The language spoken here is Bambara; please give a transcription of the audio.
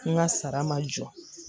N ka sara ma jɔ